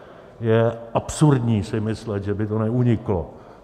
Je absurdní si myslet, že by to neuniklo.